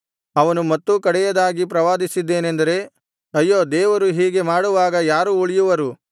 ಅವನು ಮತ್ತೂ ಕಡೆಯದಾಗಿ ಪ್ರವಾದಿಸಿದ್ದೇನೆಂದರೆ ಅಯ್ಯೋ ದೇವರು ಹೀಗೆ ಮಾಡುವಾಗ ಯಾರು ಉಳಿಯುವರು